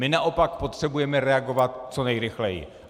My naopak potřebujeme reagovat co nejrychleji.